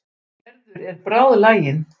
Gerður er bráðlagin.